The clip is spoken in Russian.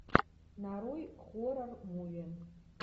нарой хоррор муви